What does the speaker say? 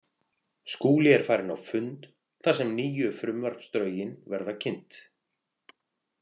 Skúli er farinn á fund þar sem nýju frumvarpsdrögin verða kynnt.